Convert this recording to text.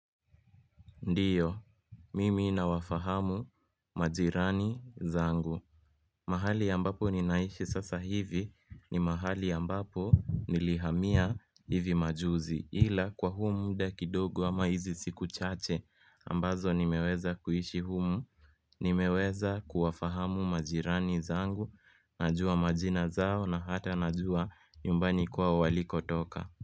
Ndiyo, mimi nawafahamu majirani zangu mahali ambapo ninaishi sasa hivi ni mahali ambapo nilihamia hivi majuzi ila kwa humu muda kidogo ama hizi siku chache ambazo nimeweza kuishi humu Nimeweza kuwafahamu majirani zangu najua majina zao na hata najua nyumbani kwao walikotoka.